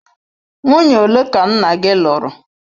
Nwunye ole ka nna gị lụrụ?